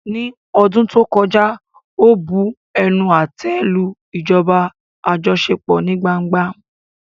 Ní ọdún tó kọjá, ó bu ẹnu àtẹ́ lu ìjọba àjọṣepọ̀ ní gbangba.